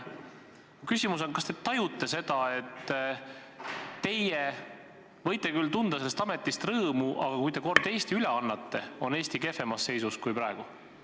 Mu küsimus on: kas te tajute seda, et teie võite küll tunda sellest ametist rõõmu, aga kui te kord Eesti üle annate, on Eesti kehvemas seisus kui praegu?